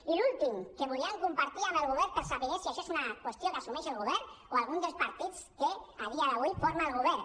i l’últim que volíem compartir amb el govern per saber si això és una qüestió que assumeix el govern o algun dels partits que a dia d’avui forma el govern